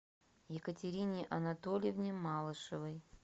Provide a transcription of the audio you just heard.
екатерине анатольевне малышевой